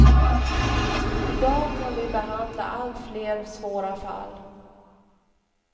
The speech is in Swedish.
I dag kan vi behandla allt fler svåra fall.